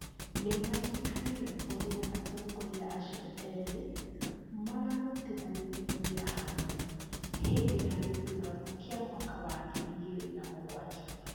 nĩ maririkanire ũrĩa atongoria acio ĩrĩ maarutithanirie wĩra hamwe, hĩndĩ ya gĩthurano kĩa mwaka wa ngiri igĩrĩ na mũgwanja.